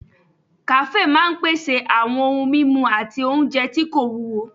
Kàáfè máa n pèsè àwọn ohun mímu àti oúnjẹ tí kò wúwo